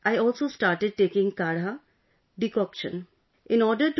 Along with that I also started taking kadha, decoction